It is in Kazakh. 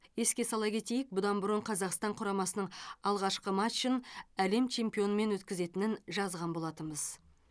еске сала кетейік бұдан бұрын қазақстан құрамасының алғашқы матчын әлем чемпионымен өткізетінін жазған болатынбыз